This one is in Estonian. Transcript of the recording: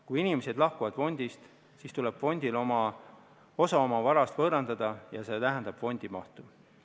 Kui inimesed lahkuvad fondist, siis tuleb fondil osa oma varast võõrandada ja see vähendab fondi mahtu.